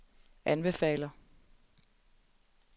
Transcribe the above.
anbefaler